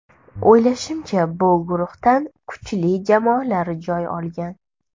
O‘ylashimcha, bu guruhdan kuchli jamoalar joy olgan.